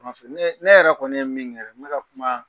ne ne yɛrɛ kɔni ye min ŋɛ, n be ka kumaa